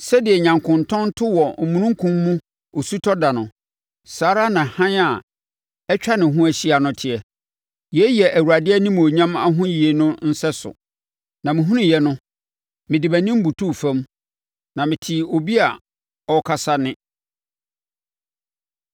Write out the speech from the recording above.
Sɛdeɛ nyankontɔn to wɔ omununkum mu osutɔ ɛda no, saa ara na hann a atwa ne ho ahyia no teɛ. Yei yɛ Awurade animuonyam ahoyie no sɛso. Na mehunuuɛ no, me de mʼanim butuu fam, na metee obi a ɔrekasa nne.